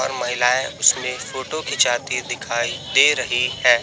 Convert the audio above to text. और महिलाएं उसमें फोटो खींचाती दिखाई दे रही है।